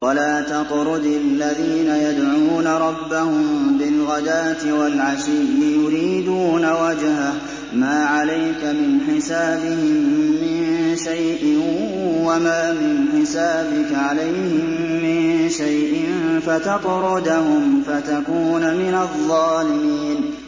وَلَا تَطْرُدِ الَّذِينَ يَدْعُونَ رَبَّهُم بِالْغَدَاةِ وَالْعَشِيِّ يُرِيدُونَ وَجْهَهُ ۖ مَا عَلَيْكَ مِنْ حِسَابِهِم مِّن شَيْءٍ وَمَا مِنْ حِسَابِكَ عَلَيْهِم مِّن شَيْءٍ فَتَطْرُدَهُمْ فَتَكُونَ مِنَ الظَّالِمِينَ